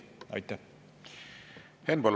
Henn Põlluaas, palun!